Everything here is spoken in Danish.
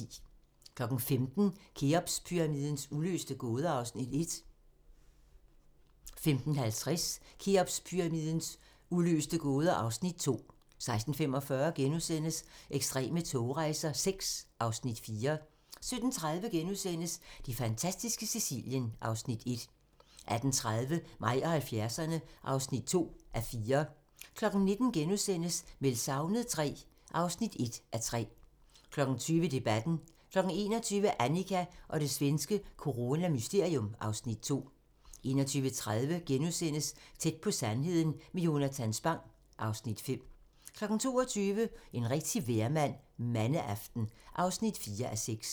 15:00: Kheopspyramidens uløste gåder (Afs. 1) 15:50: Kheopspyramidens uløste gåder (Afs. 2) 16:45: Ekstreme togrejser VI (Afs. 4)* 17:30: Det fantastiske Sicilien (Afs. 1)* 18:30: Mig og 70'erne (2:4) 19:00: Meldt savnet III (1:3)* 20:00: Debatten 21:00: Annika og det svenske coronamysterium (Afs. 2) 21:30: Tæt på sandheden med Jonatan Spang (Afs. 5)* 22:00: En rigtig vejrmand - Mandeaften (4:6)